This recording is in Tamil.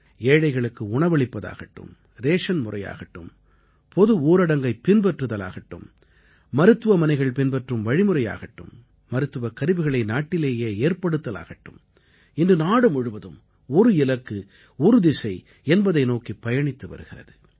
ஏழைகளுக்கு உணவளிப்பதாகட்டும் ரேஷன் முறையாகட்டும் பொது ஊரடங்கைப் பின்பற்றுதலாகட்டும்மருத்துவமனைகள் பின்பற்றும் வழிமுறையாகட்டும் மருத்துவக் கருவிகளை நாட்டிலேயே ஏற்படுத்தலாகட்டும் இன்று நாடு முழுவதும் ஒரு இலக்கு ஒரு திசை என்பதை நோக்கிப் பயணித்து வருகிறது